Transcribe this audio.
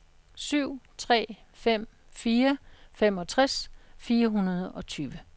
syv tre fem fire femogtres fire hundrede og tyve